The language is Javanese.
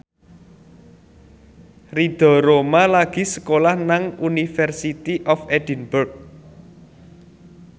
Ridho Roma lagi sekolah nang University of Edinburgh